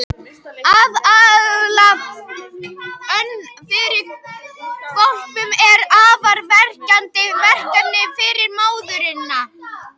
Að ala önn fyrir hvolpum er afar krefjandi verkefni fyrir móðurina.